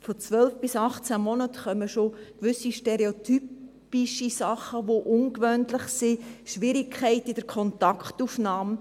Von 12 bis 18 Monaten kommt es schon zu gewissen stereotype Sachen, die ungewöhnlich sind – Schwierigkeiten in der Kontaktaufnahme.